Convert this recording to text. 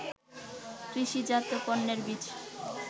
কৃষিজাত পণ্যের বীজ